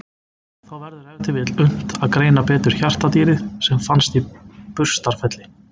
Þá verður ef til vill unnt að greina betur hjartardýrið sem fannst í Burstarfelli.